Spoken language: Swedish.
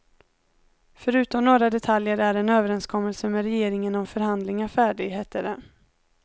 Förutom några detaljer är en överenskommelse med regeringen om förhandlingar färdig, hette det.